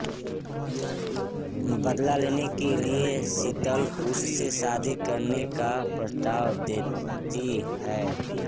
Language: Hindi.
बदला लेने के लिए शीतल उससे शादी करने का प्रस्ताव देती है